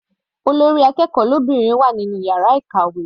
Olórí akẹ́kọ̀ọ́ lóbìnrin wà nínú yàrá ìkàwé.